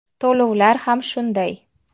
To‘lovlar ham shunday.